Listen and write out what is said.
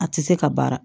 A tɛ se ka baara